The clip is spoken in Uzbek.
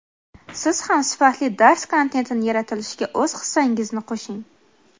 Siz ham sifatli dars kontentini yaratilishiga o‘z hissangizni qo‘shing!.